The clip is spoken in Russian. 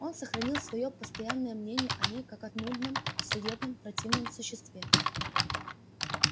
он сохранил своё постоянное мнение о ней как о нудном суетном противном существе